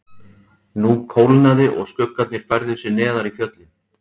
Nú kólnaði og skuggarnir færðu sig neðar í fjöllin.